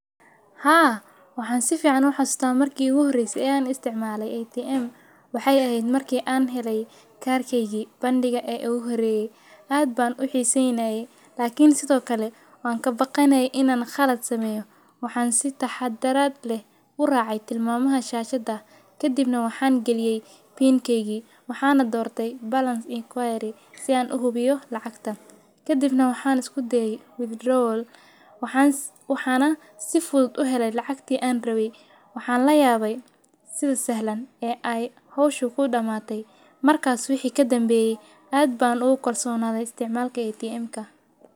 Haa, waxaan si fiican u xusdaa markii u horeysay aan isticmaalay ATM. Waxay aheyd markii aan helay kaarkaygi bandhiga ee u horeeyay. Aad baan u xiisay, laakiin sidoo kale waan ka baqanay in aan khalad sameyo. Waxaan si taxaddaraad leh u raacay tilmaamaha shaashada. Ka dibna waxaan geliyay PIN kaygii. Waxaana doortay balance inquiry si aan u hubiyo lacagta. Ka dibna waxaana isku dayay withdrawal. Waxaans- waxaana si fudud u helay lacagtii aan rabay. Waxaan la yaabay sida sahlan ee ay hawshu ku dhamaatay. Markaas wixi ka danbeyay. Aad baan u qorsoonaan istimalka ATM ka.